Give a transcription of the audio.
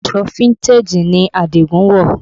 Aṣọ fíntèjì ni Adigun wọ̀